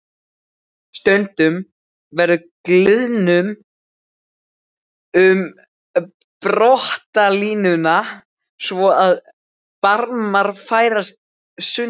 Stundum verður gliðnun um brotalínuna svo að barmar færast sundur.